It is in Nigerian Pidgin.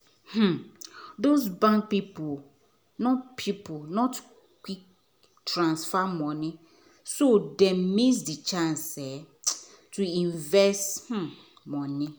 um those bank people not people not quick transfer money so them miss the chance um to invest the um money